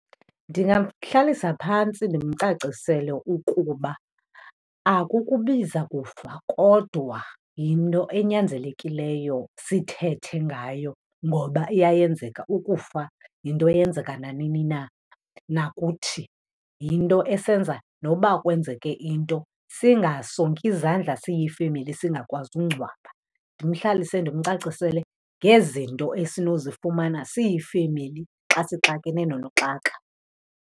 Ndingamhlalisa phantsi ndimcacisele ukuba akukubiza kufa kodwa yinto enyanzelekileyo sithethe ngayo ngoba iyayenzeka, ukufa yinto eyenzeka nanini na, nakuthi yinto esenza noba kwenzeke into singasongi izandla siyifemeli singakwazi ungcwaba. Ndimhlalise ndimcacisele ngezinto esinozifumana siyifemeli xa sixakene nonoxaka.